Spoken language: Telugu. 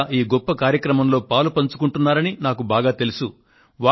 మీరంతా ఈ గొప్ప కార్యక్రమంలో పాలుపంచుకుంటున్నారని నాకు బాగా తెలుసు